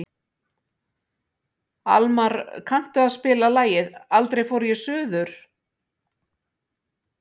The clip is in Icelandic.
Almar, kanntu að spila lagið „Aldrei fór ég suður“?